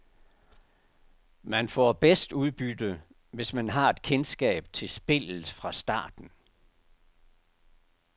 Man får bedst udbytte, hvis man har et kendskab til spillet fra starten.